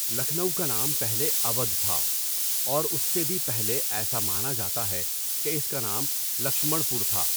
لکھنؤ کا نام پہلے اوّدھ تھا اور اُس سے بھی پہلے ایسا مانا جاتا ہے کہ اِس کا نام لکشمڑ پور تھا.